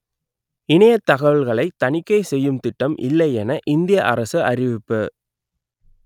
இணையத் தகவல்களை தணிக்கை செய்யும் திட்டம் இல்லை என இந்திய அரசு அறிவிப்பு